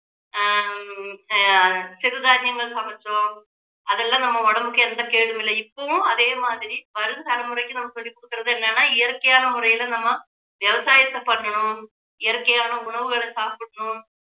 ஹம் ஆஹ் சிறுதானியங்கள் சமைச்சோம் அதெல்லாம் நம்ம உடம்புக்கு எந்த கேடும் இல்லை இப்பவும் அதே மாதிரி வரும் தலைமுறைக்கு நம்ம சொல்லி கொடுக்கிறது என்னன்னா இயற்கையான முறையில நம்ம விவசாயத்தை பண்ணணும் இயற்கையான உணவுகளை சாப்பிடணும்